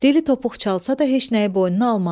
Dili topuq çalsa da heç nəyi boynuna almadı.